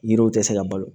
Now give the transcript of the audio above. Yiriw tɛ se ka balo